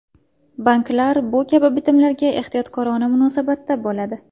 Banklar bu kabi bitimlarga ehtiyotkorona munosabatda bo‘ladi.